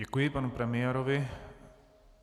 Děkuji panu premiérovi.